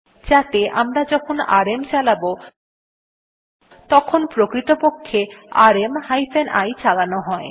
যাতে আমরা যখন আরএম চালাব তখন প্রকৃতপক্ষে আরএম হাইফেন i চালানো হয়